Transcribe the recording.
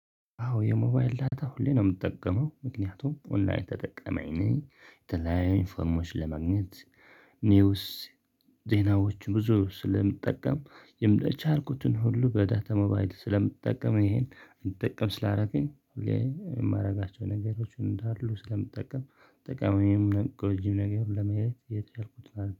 አዎ የሞባይል ዳታ ሁሌ ነው የምጠቀመው ምክንያቱም ኦንላይን ተጠቃሚ ነኝ የተለያዩ ኢንፎርሜሽኖች ለመግኘት ኒውስ ዜናዎች ብዙ ስለምጠቀም የቻልኩትን ሁሉ በዳ ታ ሞባይል ስለምጠቀም ይሄን እንድጠቀም ስላደረገኝ። የማደርጋቸው ነገሮችን እንዳሉ ስለምጠቀም ጠቃሚውንም ጎጂ ነገር ለማየት የቻልኩትን ነው